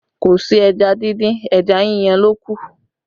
Kò sí ẹja díndín, ẹja yíyan ló kù